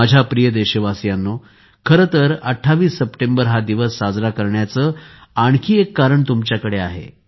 माझ्या प्रिय देशवासियांनो खरे तर 28 सप्टेंबर हा दिवस साजरा करण्याचे आणखी एक कारण तुमच्याकडे आहे